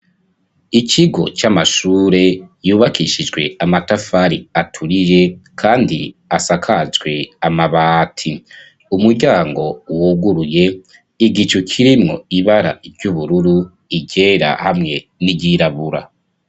Ikigo c'amashure yubakishijwe amatafari aturiye, kandi asakajwe amabati, umuryango uwuguruye igico kirimwo ibara iry'ubururu igera hamwe n'iryirabura.